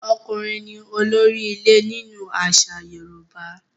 Ọkùnrin ni olórí ilé nínú àṣà Yorùbá.